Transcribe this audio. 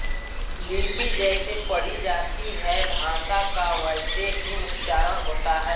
लिपि जैसे पढ़ी जाती है भाषा का वैसे ही उच्चारण होता है